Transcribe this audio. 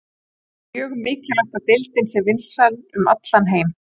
Það er mjög mikilvægt að deildin sé vinsæl um allan heim.